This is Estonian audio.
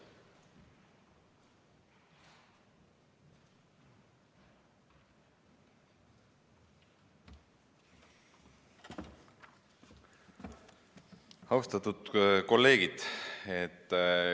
Austatud kolleegid!